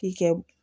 K'i kɛ